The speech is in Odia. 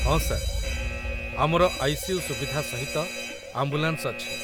ହଁ ସାର୍, ଆମର ଆଇ.ସି.ୟୁ. ସୁବିଧା ସହିତ ଆମ୍ବୁଲାନ୍ସ ଅଛି।